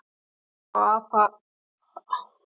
Sigur og að halda hreinu